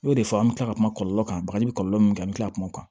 O de fɔ an bɛ tila ka kuma kɔlɔlɔ kan bagaji bɛ kɔlɔlɔ min kɛ an bɛ tila ka kuma